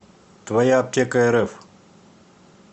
твояаптекарф